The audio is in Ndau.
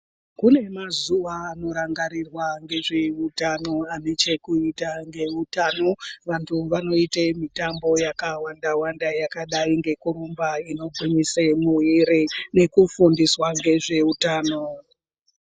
Kune mazuva anorangarirwa ngevezveutano ane chekuita ngeutano vantu vanoite mitambo yakawanda wanda yakadai ngekurumba inogwinyise muviri nekufundiswa ngezveutano.